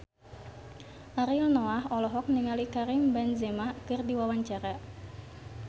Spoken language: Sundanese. Ariel Noah olohok ningali Karim Benzema keur diwawancara